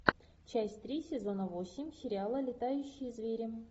часть три сезона восемь сериала летающие звери